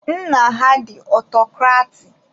Nna ha dị ọtọcrati.